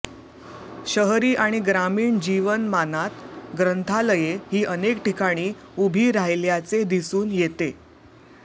शहरी आणि ग्रामीण जीवनमानात ग्रंथालये ही अनेक ठिकाणी उभी राहिल्याचे दिसून येते